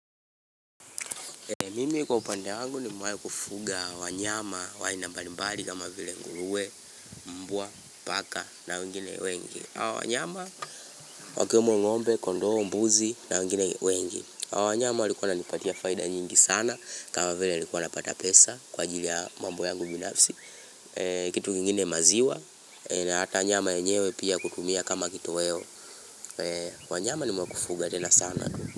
Mimi kwa upande wangu nimiwai kufunga wanyama wa aina mbalimbali kama vile nguruwe, mbwa, paka na wengine wengi. Wanyama wakiwemo ng'ombe, kondoo, mbuzi na wengine wengi. Wanyama walikua wananipatia faida nyingi sana kama vile nilikua pata pesa kwa ajili ya mambo yangu binafsi. Kitu kingine maziwa na hata nyama yenyewe pia kutumia kama kitoweo. Wanyama ni mwakufuga tena sana.